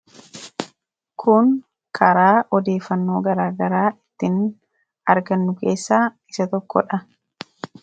Kun karaa odeefannoo garaagaraa ittiin argannu keessaa isa tokkodha.